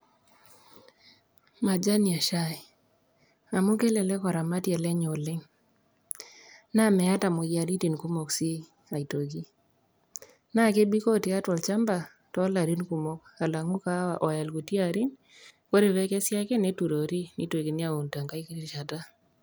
majani eshai amu kelelek oramatie lenye oleng', naa meeta imoyiaritin kumok sii aitoki naa kebikoo tiatua olchamba alang'u kahawa oya ikuti arin ore pee ekesi neturori nitokini aun tengae rishata.